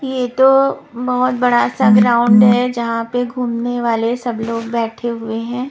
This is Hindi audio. ये तो बहुत बड़ा सा ग्राउंड है जहाँ पे घूमने वाले सब लोग बैठे हुए हैं।